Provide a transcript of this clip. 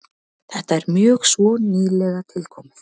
Þetta er mjög svo nýlega tilkomið.